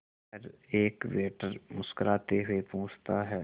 पर एक वेटर मुस्कुराते हुए पूछता है